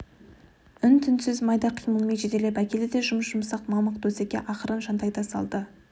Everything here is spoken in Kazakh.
үн-түнсіз майда қимылмен жетелеп әкелді де жұп-жұмсақ мамық төсекке ақырын жантайта салды